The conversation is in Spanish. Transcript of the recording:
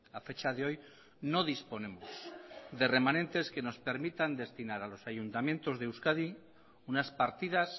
a fecha de hoy no disponemos de remanentes que nos permitan destinar a los ayuntamientos de euskadi unas partidas